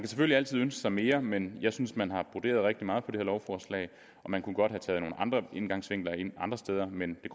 selvfølgelig altid ønske sig mere men jeg synes at man har broderet rigtig meget på det her lovforslag man kunne godt have taget nogle andre vinkler ind andre steder men det